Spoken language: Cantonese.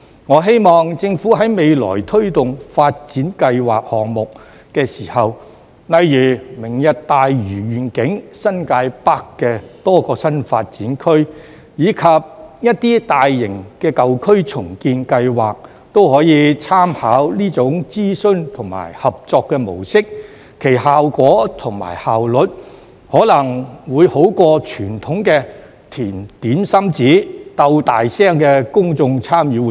我希望政府未來推動發展計劃項目時，例如"明日大嶼願景"、新界北的多個新發展區，以及一些大型的舊區重建計劃，也可以參考這種諮詢和合作模式，其效果和效率可能會勝於較傳統的"填點心紙"、"鬥大聲"的公眾參與活動。